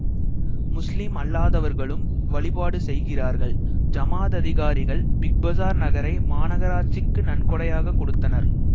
முஸ்லிம் அல்லாதவர்களும் வழிபாடு செய்கிறார்கள் ஜமாத் அதிகாரிகள் பிக் பசார் நகரை மாநகராட்சிக்கு நன்கொடையாக கொடுத்தனர்